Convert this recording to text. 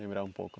Lembrar um pouco.